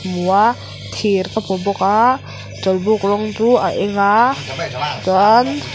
hmu a thir ka hmu bawk a chawlhbuk rawng chu a eng a chuan--